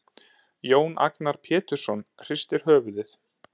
Jón Agnar Pétursson hristir höfuðið.